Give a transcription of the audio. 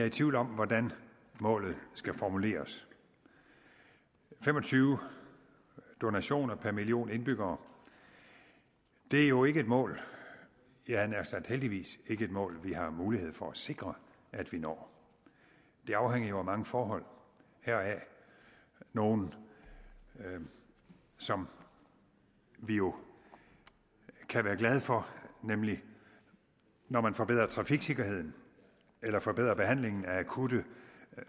i tvivl om hvordan målet skal formuleres fem og tyve donationer per million indbyggere er jo ikke et mål jeg havde nær sagt heldigvis ikke et mål vi har mulighed for at sikre at vi når det afhænger jo af mange forhold heraf nogle som vi jo kan være glade for nemlig når man forbedrer trafiksikkerheden eller forbedrer behandlingen af akutte